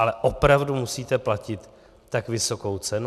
Ale opravdu musíte platit tak vysokou cenu?